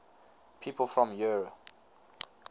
people from eure